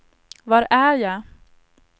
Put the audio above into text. var är jag